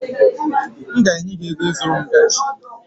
M ga-enye gị ego ịzụrụ m ngaji